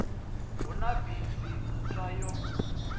hu na bisi ntswa yo